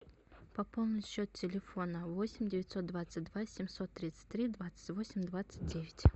пополнить счет телефона восемь девятьсот двадцать два семьсот тридцать три двадцать восемь двадцать девять